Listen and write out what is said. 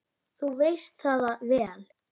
Þú veist það vel!